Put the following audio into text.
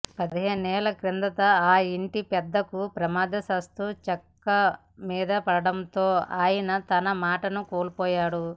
పదిహేనేళ్ల కిందట ఆ ఇంటి పెద్దకు ప్రమాదవశాత్తు చెక్క మీదపడటంతో ఆయన తన మాటను కోల్పోయాడు